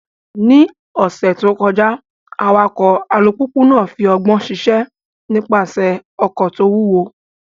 Ní ọ̀sẹ̀ tó kọjá, awakọ̀ alùpùpù náà fi ọgbọ́n ṣiṣẹ́ nípasẹ̀ ọkọ̀ tó wúwo.